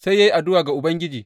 Sai ya yi addu’a ga Ubangiji.